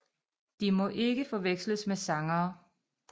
De må ikke forveksles med sangere